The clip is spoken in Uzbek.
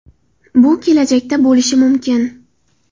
Bu kelajakda bo‘lishi mumkin.